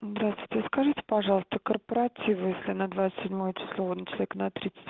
здравствуйте скажите пожалуйста корпоративы если на двадцать седьмое число человек на тридцать